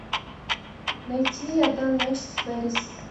найти одна ночь в пэрис